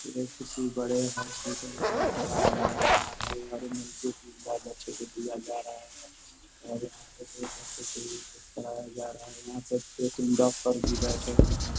ये किसी बड़े हॉस्पिटल का नजारा यहाँ पे दो तीन डॉक्टर भी बेठे हुए हैं।